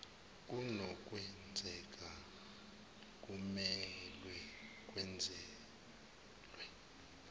kunokwenzeka kumelwe kwenezelwe